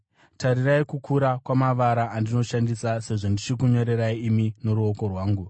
Tarirai kukura kwamavara andinoshandisa sezvo ndichikunyorerai imi noruoko rwangu!